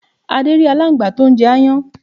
Adé rí alángbá tó n jẹ aáyán